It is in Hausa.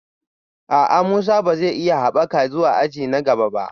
A'a, Musa ba za a iya haɓaka zuwa aji na gaba ba